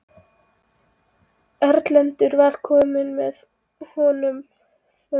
Erlendur var kominn og með honum förunautar.